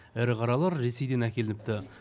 ірі қаралар ресейден әкелініпті